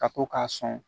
Ka to k'a sɔn